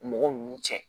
Mɔgɔ ninnu cɛ